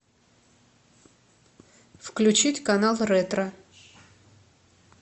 включить канал ретро